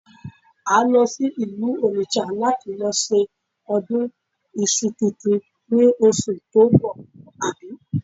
À ń lọ sí ìlú Onitsha láti lọ ṣe ọdún iṣu tuntun ni oṣù tó ń bọ̀, àbí?